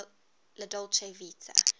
la dolce vita